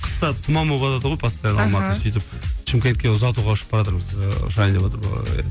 қыста туман боватады ғой постоянно мхм алматыда сөйтіп шымкентке ұзатуға ұшып баратырмыз ыыы ұшайын деватыр ыыы